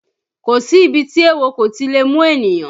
Kò sí ibi tí éwo kò ti lè mú ènìyàn